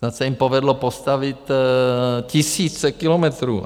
Snad se jim povedlo postavit tisíce kilometrů.